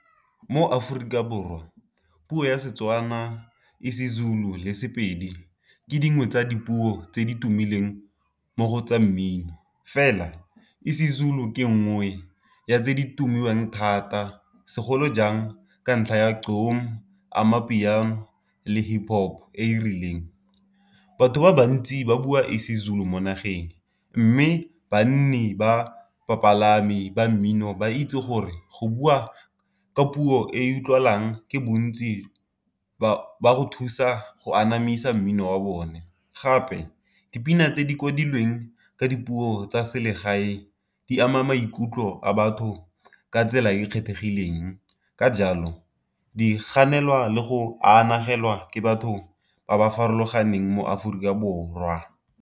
Mo Aforika Borwa puo ya Setswana e isiZulu le sePedi ke dingwe tsa dipuo tse di tumileng mo go tsa mmino, fela isiZulu ke nngwe ya tse di timilweng thata segolo jang ka ntlha ya Gqom, Amapiano le Hip Hop e e rileng. Batho ba bantsi ba bua e isiZulu mo nageng, mme banni ba bapalami ba mmino ba itse gore go bua ka puo e utlwalang ke bontsi ba go thusa go anamisa mmino wa bone. Gape dipina tse di kwadilweng ka dipuo tsa selegae di ama maikutlo a batho ka tsela e e kgethegileng, ka jalo di ganelwa le go anagelwa ke batho ba ba farologaneng mo Aforika Borwa.